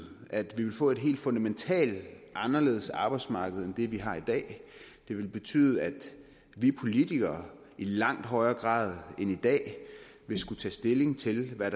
at vi vil få et helt fundamentalt anderledes arbejdsmarkedet end det vi har i dag det vil betyde at vi politikere i langt højere grad end i dag vil skulle tage stilling til hvad